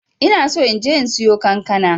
ina so inje in siyo kankana.